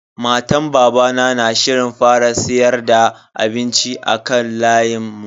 Matan babana na shirin fara siyar da abinci a kan layin mu.